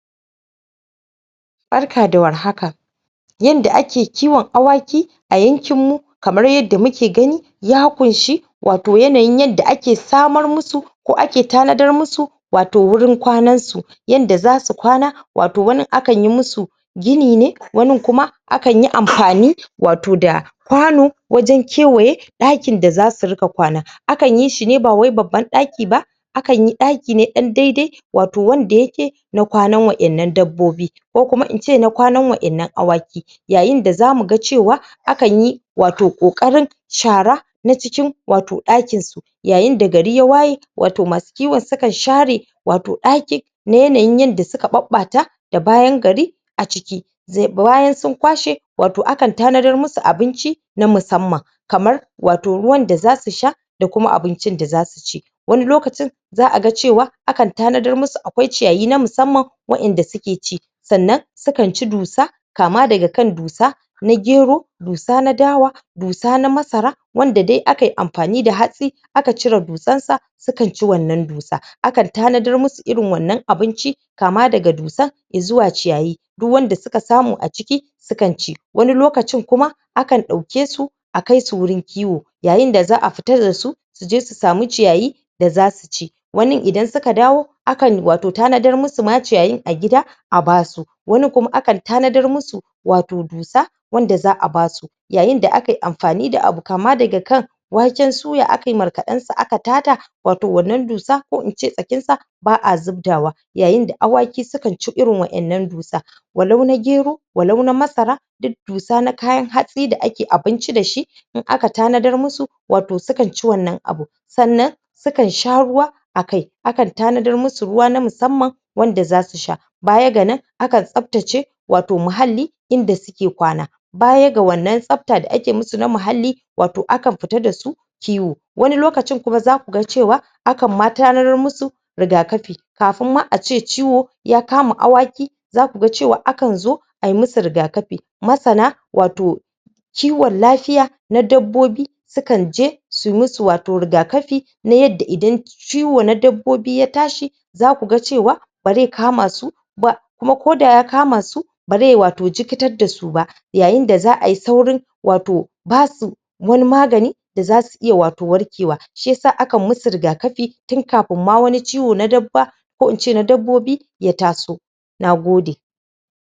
barka da war haka yanda ake kiwan awaki a yankin mu kamar yanda muke gani ya kunshe wato yanayin yadda ake sa marmusu ko ake tanadar musu wato wurin kwanansu inda zasu kwana wato wani akan yi musu gini ne wani kuma akanyi amfani da wato kwano wajan kewaye ɗakin da zasu dinga kwana akanyi shine bawai babban ɗaki ba akanyi ɗakine ɗan daidai wato wanda yake na kwanan waɗannan dabbobi ko kuma inci na kwanan waɗannan awaki yayin da zamu ga cewa akanyi wato ƙoƙarin shara a cikin ɗakinsu yayin da gari ya waye masu kiwan su sukan share wato ɗakinsu na yanain yanda suka ɓaɓɓata da bayan gari a ciki bayan su kwashe wato akan tanadar musu abinci na musanman kamar wato ruwan da zasu sha da kuma abincin da zasuci wani lokacin za aga cewa akan tanadar musu akwai ciyayi na musamman wa inda suke ci sannan sukanci dusa kama daga kan dusa na gero dusa na dawa dusa na masara wanda dai akayi amfani da hatsi aka cire dusarsa sukanci wannan dusa akan tana dar musu irin wannan abinci kama daga dusar izuwa ciyayi duk wanda suka samu a ciki sukanci wani lokacin kuma akan ɗaukesu a kaisu wurin kiwo yayin da za a fita dasu suje su samu ciyayin da zasuci wannan idan suka dawo akan wato ƙoƙarin tana dar musu ciyayin ma a gida a basu wasu kuma akan tana dar musu wato dusa wanda za a basu yayin da akayi amfani da abu kama daga kai waken suya akayi markaɗansa aka tace wato wannan dusa ko ince tsakinsa ba a zubdawa yayin da awaki sukanci irin waɗannan dusa walau na gero walau na masara duk dusa na kayan hatsi da ake abinci dashi idan aka tanadar musu wato sukanci wannan abun sannan sukan sha ruwa akai akan tana dar musu ruwa na musamman wanda zasu sha baya ga nan akan tsaftace wato muhalli inda suke kwana baya ga wannan tsafta da ake musu na muhalli wato akan fita dasu kiwo wani lokacin kuma zaku ga cewa akan ma tana dar musu riga kafi kafin ma ace ciwo ya kama awaki zaku ga cewa akan zo ayi musu riga kafi masana wato kiwan lafiya na dabbobi sukan je wato suyi musu riga kafi na yanda idan ciwo na dabbobi ya tashi zaku ga cewa bazai kamasu ba kuma ko da ya kamasu ba zaiyi wato jikkitar dasu ba yayin da za ayi saurin wato basu wani magani da zasu iya wato warkewa shiyasa akan musu riga kafi tun kafin ma wani ciwo na dabba ko ince na dabbobi ya taso